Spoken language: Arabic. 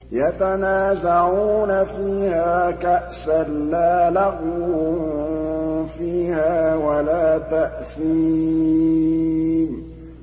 يَتَنَازَعُونَ فِيهَا كَأْسًا لَّا لَغْوٌ فِيهَا وَلَا تَأْثِيمٌ